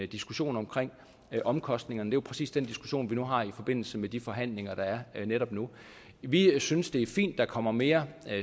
diskussion omkring omkostningerne jo præcis den diskussion vi nu har i forbindelse med de forhandlinger der er netop nu vi synes det er fint at der kommer mere